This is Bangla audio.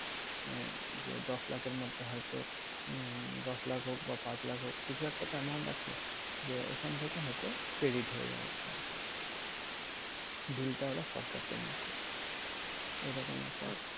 আহ যে দশ লাখের মধ্যে হয়তো উম দশ লাখ হোক বা পাঁচ লাখ হোক কিছু একটা তো amount আছে। যে ওখান থেকে হয়তো credit হয়ে যাবে ঐটা। bill টা ওরা সরকার payment করবে। এরকম একটা